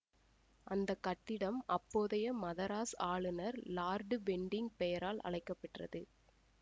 அந்த கட்டிடம் அப்போதைய மதராஸ் ஆளுநர் லார்டு பென்டிங் பெயரால் அழைக்கப்பெற்றது